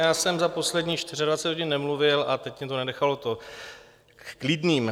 Já jsem za posledních 24 hodin nemluvil a teď mě to nenechalo klidným.